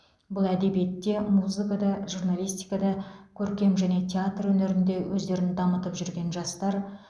бұл әдебиетте музыкада журналистикада көркем және театр өнерінде өздерін дамытып жүрген жастар